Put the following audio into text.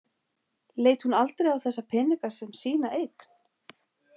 Leit hún aldrei á þessa peninga sem sína eign?